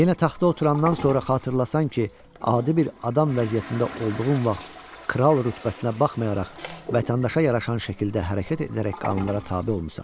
Yenə taxta oturandan sonra xatırlasan ki, adi bir adam vəziyyətində olduğun vaxt kral rütbəsinə baxmayaraq, vətəndaşa yaraşan şəkildə hərəkət edərək qanunlara tabe olmusan.